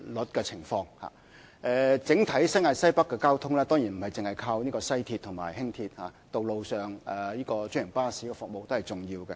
新界西北整體的交通，當然不單依靠西鐵線及輕鐵，道路上的專營巴士服務，都是重要的。